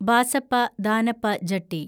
Basappa Danappa Jetty